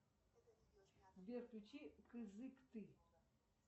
сбер включи кызыкты